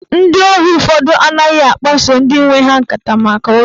Ndị ohu ụfọdụ anaghị akpaso ndị nwe ha nkata maka ụjọ